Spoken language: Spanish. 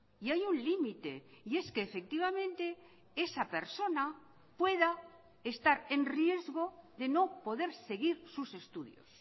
y hay un limite y es que efectivamente esa persona pueda estar en riesgo de no poder seguir sus estudios